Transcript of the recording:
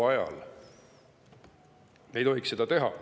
Me ei tohiks seda teha.